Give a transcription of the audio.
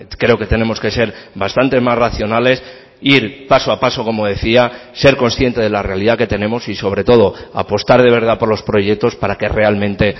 creo que tenemos que ser bastante más racionales ir paso a paso como decía ser consciente de la realidad que tenemos y sobre todo apostar de verdad por los proyectos para que realmente